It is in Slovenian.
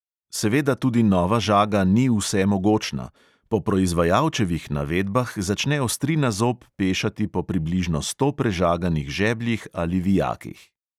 Seveda tudi nova žaga ni vsemogočna: po proizvajalčevih navedbah začne ostrina zob pešati po približno sto prežaganih žebljih ali vijakih.